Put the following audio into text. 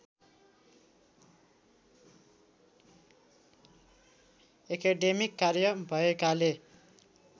academic कार्य भएकाले